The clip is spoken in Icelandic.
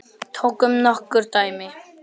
Tökum nokkur dæmi.